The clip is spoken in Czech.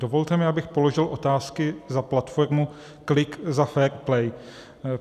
Dovolte mi, abych položil otázky za platformu Klik za fair play.